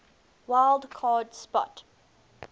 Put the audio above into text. wild card spot